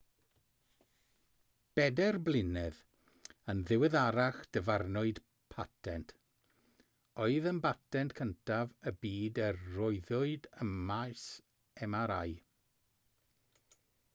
bedair blynedd yn ddiweddarach dyfarnwyd patent oedd yn batent cyntaf y byd a roddwyd ym maes mri